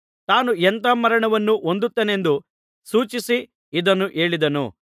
ತಾನು ಎಂಥಾ ಮರಣವನ್ನು ಹೊಂದುತ್ತೇನೆಂದು ಸೂಚಿಸಿ ಇದನ್ನು ಹೇಳಿದನು